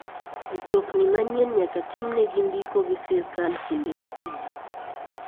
Mtokni manyien nyaka timnegi ndio gi sirkal kinde ka kinde.